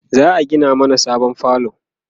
za'a Gina mana sabon falo